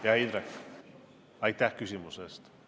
Hea Indrek, aitäh küsimuse eest!